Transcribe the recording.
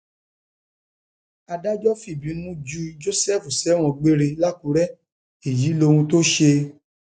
adájọ fìbínú ju joseph sẹwọn gbére làkúrẹ èyí lohun tó ṣe